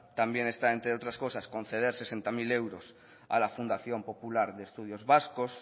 también está entre otras cosas conceder sesenta mil euros a la fundación popular de estudios vascos